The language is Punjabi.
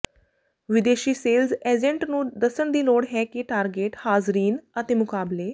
ਵਿਦੇਸ਼ੀ ਸੇਲਜ਼ ਏਜੰਟ ਨੂੰ ਦੱਸਣ ਦੀ ਲੋੜ ਹੈ ਕਿ ਟਾਰਗੇਟ ਹਾਜ਼ਰੀਨ ਅਤੇ ਮੁਕਾਬਲੇ